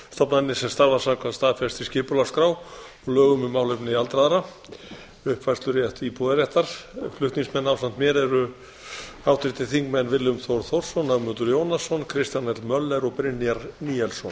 stofnanir sem starfa samkvæmt staðfestri skipulagsskrá og lögum um málefni aldraðra flutningsmenn ásamt mér eru háttvirtir þingmenn willum þór þórsson ögmundur jónasson kristján l möller og brynjar níelsson